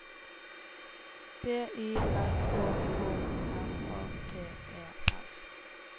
B Y R Å K R A T E R